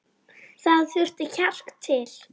Það þurfti kjark til.